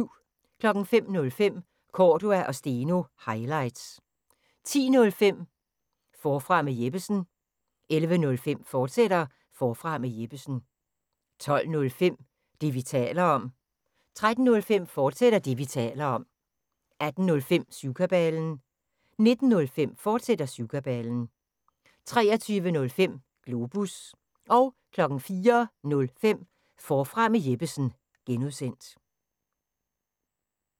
05:05: Cordua & Steno – highlights 10:05: Forfra med Jeppesen 11:05: Forfra med Jeppesen, fortsat 12:05: Det, vi taler om 13:05: Det, vi taler om, fortsat 18:05: Syvkabalen 19:05: Syvkabalen, fortsat 23:05: Globus 04:05: Forfra med Jeppesen (G)